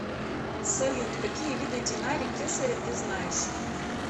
салют какие виды динарий кесаря ты знаешь